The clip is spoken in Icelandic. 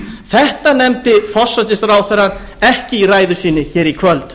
þetta nefndi forsætisráðherrann ekki í ræðu sinni hér í kvöld